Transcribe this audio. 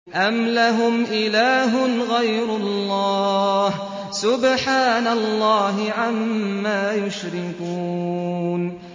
أَمْ لَهُمْ إِلَٰهٌ غَيْرُ اللَّهِ ۚ سُبْحَانَ اللَّهِ عَمَّا يُشْرِكُونَ